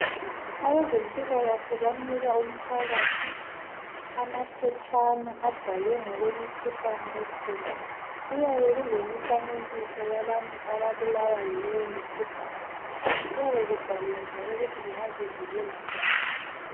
Abezempilakahle banika umphakathi amaphetshana abhalwe ngokwemikhuhlane ekhona. Kuyabe kulemifanekiso yabantu ababulawa yileyomikhuhlane. Kuyabe kubhaliwe njalo ukuthi bangazivikela njani.